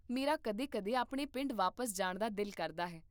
ਮੇਰਾ ਕਦੇ ਕਦੇ ਆਪਣੇ ਪਿੰਡ ਵਾਪਸ ਜਾਣ ਦਾ ਦਿਲ ਕਰਦਾ ਹੈ